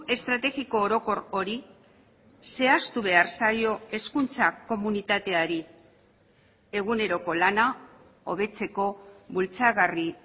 estrategiko orokor hori zehaztu behar zaio hezkuntza komunitateari eguneroko lana hobetzeko bultzagarri